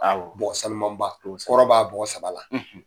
Awɔ. Bɔgɔ sanuman ba, kosɛbɛ , kɔrɔ b'a bɔgɔ saba la,